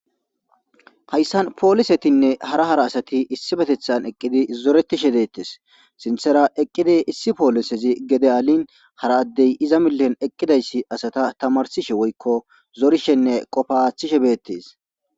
Haysan polisetimne hara hara adati issipetethan eqidi zoretishe deetes sinthara eqidi issi polisezi gefe alin hara daddy iza achan eqidausi asata tamarsisjenne zorishe woyko qopa athisje beetes.